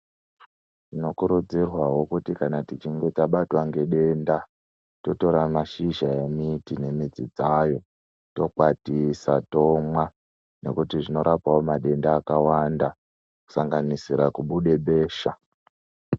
Tinokurudzirwawo kana tichinge tabatwa nedenda totora mashizha nemidz dzzayo totokwatisa tomwa Kuti zvinorapa madenda akawanda kusanganisira kubude besha.